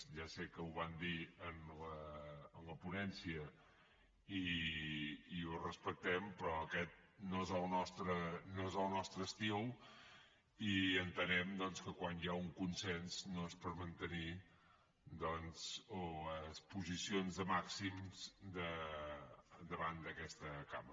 ja sé que ho van dir en la ponència i ho respectem però aquest no és el nostre estil i entenem doncs que quan hi ha un consens no és per mantenir les posicions de màxims davant d’aquesta cambra